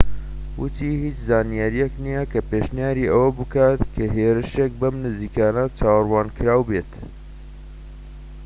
وتی هیچ زانیاریەک نیە کە پێشنیاری ئەوە بکات کە هێرشێک بەم نزیکانە چاوەڕوانکراو بێت